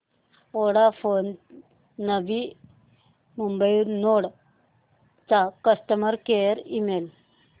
Vodafone नवी Mumbai node चा customer care email